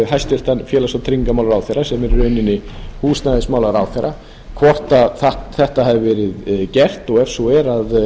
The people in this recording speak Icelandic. hæstvirtan félags og tryggingamálaráðherra sem er í rauninni húsnæðismálaráðherra hvort þetta hafi verið gert og ef svo